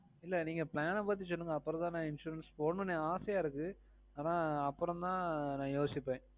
இல்ல நீங்க Plan ன பத்தி சொல்லுங்க அப்பறம் தான் நான் Insurance போடணும் னு ஆசையா இருக்கு ஆனா அப்பறம் தான் நான் யோசிப்பேன்